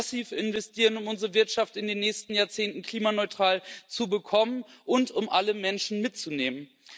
Wir müssen massiv investieren, um unsere Wirtschaft in den nächsten Jahrzehnten klimaneutral zu bekommen und um alle Menschen mitzunehmen.